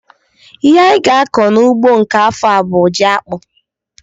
Ihe anyị ga-akọ n'ugbo nke afọ a bụ jiakpụ